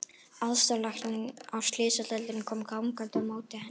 Aðstoðarlæknir á slysadeildinni kom gangandi á móti henni.